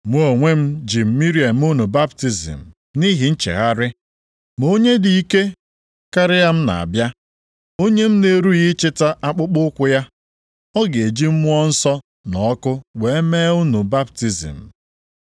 “Mụ onwe m ji mmiri eme unu baptizim nʼihi nchegharị, ma onye dị ike karịa m na-abịa. Onye m na-erughị ịchịta akpụkpọụkwụ ya. Ọ ga-eji Mmụọ Nsọ na ọkụ were mee unu baptizim.